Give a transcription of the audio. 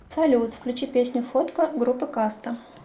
салют включи песню фотка группы каста